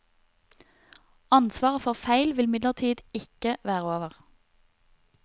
Ansvaret for feil vil imidlertid ikke være over.